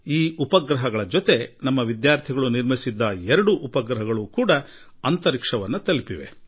ಹಾಗೂ ಇದರೊಂದಿಗೆ ನಮ್ಮ ವಿದ್ಯಾರ್ಥಿಗಳು ನಿರ್ಮಿಸಿದ ಎರಡು ಉಪಗ್ರಹಗಳೂ ಅಂತರಿಕ್ಷ ತಲುಪಿವೆ